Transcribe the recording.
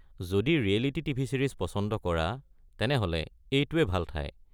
যদি reality TV. Series পচন্দ কৰা তেনেহ’লে এইটোৱে ভাল ঠাই।